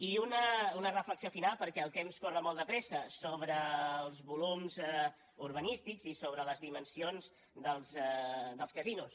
i una reflexió final perquè el temps corre molt de pressa sobre els volums urbanístics i sobre les dimensions dels casinos